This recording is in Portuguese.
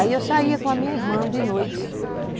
Aí eu saía com a minha irmã de noite.